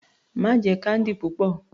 Má jẹ candy púpọ̀.